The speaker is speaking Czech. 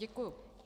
Děkuji.